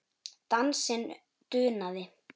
Dansinn dunaði.